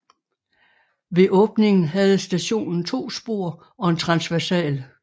Ved åbningen havde stationen to spor og en transversal